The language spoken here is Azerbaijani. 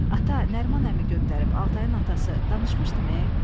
Ata, Nəriman əmi göndərib Altayın atası, danışmışdıme?